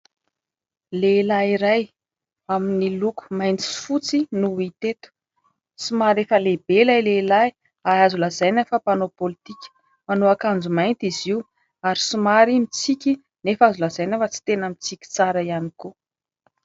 Lehilahy iray amin'ny loko mainty sy fotsy no hita eto. Somary efa lehibe ilay lehilahy ary azo lazaina fa mpanao politika, manao akanjo mainty izy io ary somary mitsiky nefa azo lazaina fa tsy tena mitsiky tsara ihany koa.